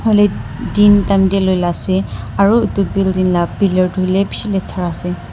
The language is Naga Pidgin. din time dae loi la ase aro etu building la pillar tu holeh beshi letara ase.